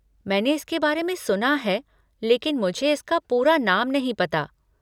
मैंने इसके बारे में सुना है लेकिन मुझे इसका पूरा नाम नहीं पता।